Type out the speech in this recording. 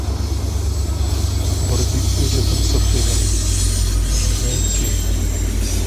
барбекю рядом с отелем найти